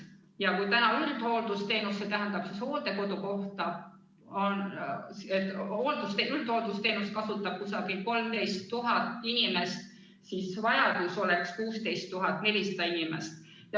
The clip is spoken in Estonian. Ja kui üldhooldusteenust, st hooldekodukohta, kasutab umbes 13 000 inimest, siis vajadus oleks 16 400 inimesel.